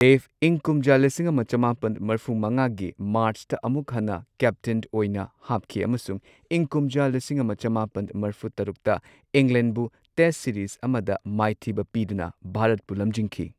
ꯗꯦꯕ ꯏꯪ ꯀꯨꯝꯖꯥ ꯂꯤꯁꯤꯡ ꯑꯃ ꯆꯃꯥꯄꯟ ꯃꯔꯐꯨ ꯃꯉꯥꯒꯤ ꯃꯥꯔꯆꯇ ꯑꯃꯨꯛ ꯍꯟꯅ ꯀꯦꯞꯇꯦꯟ ꯑꯣꯏꯅ ꯍꯥꯞꯈꯤ ꯑꯃꯁꯨꯡ ꯏꯪ ꯀꯨꯝꯖꯥ ꯂꯤꯁꯤꯡ ꯑꯃ ꯆꯃꯥꯄꯟ ꯃ꯭ꯔꯐꯨ ꯇꯔꯨꯛꯇ ꯏꯪꯂꯦꯟꯕꯨ ꯇꯦꯁꯠ ꯁꯤꯔꯤꯖ ꯑꯃꯗ ꯃꯥꯏꯊꯤꯕ ꯄꯤꯗꯨꯅ ꯚꯥꯔꯠꯄꯨ ꯂꯝꯖꯤꯡꯈꯤ꯫